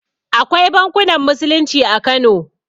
Akwai bankunan musulunci a kano